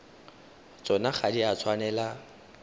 tsona ga di a tshwanela